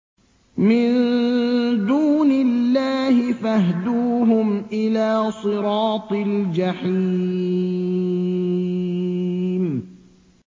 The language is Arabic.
مِن دُونِ اللَّهِ فَاهْدُوهُمْ إِلَىٰ صِرَاطِ الْجَحِيمِ